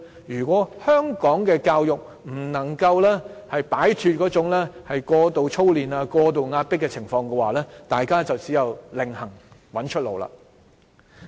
如果香港的教育不能夠擺脫過度操練、過度壓迫的問題，大家只有另覓出路。